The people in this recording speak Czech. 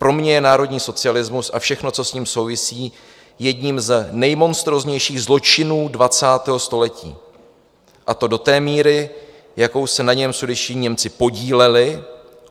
Pro mě je národní socialismus a všechno, co s ním souvisí, jedním z nejmonstróznějších zločinů 20. století, a to do té míry, jakou se na něm sudetští Němci podíleli.